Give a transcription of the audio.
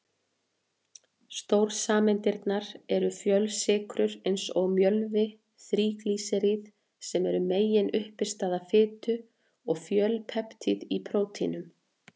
Stórsameindirnar eru fjölsykrur eins og mjölvi, þríglýseríð sem eru meginuppistaða fitu, og fjölpeptíð í prótínum.